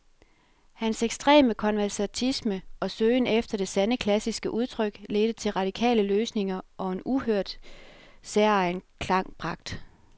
Hans ekstreme konservatisme og søgen efter det sande, klassiske udtryk ledte til radikale løsninger og en uhørt, særegen klangpragt.